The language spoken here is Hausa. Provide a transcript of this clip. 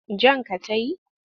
Jan ka ta yi?